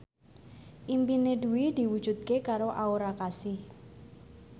impine Dwi diwujudke karo Aura Kasih